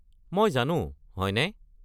মই জানো, হয়নে?